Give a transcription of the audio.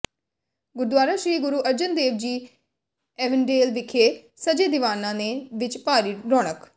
Gurdwara Sri Guru Arjan Dev ji Avondale ਵਿਖੇ ਸਜੇ ਦੀਵਾਨਾਂ ਦੇ ਵਿਚ ਭਾਰੀ ਰੌਣਕ